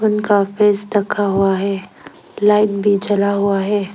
उनका फेस ढका हुआ है। लाइट भी ज़्वला हुआ है।